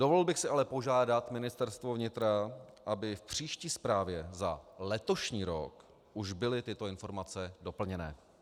Dovolil bych si ale požádat Ministerstvo vnitra, aby v příští zprávě za letošní rok už byly tyto informace doplněné.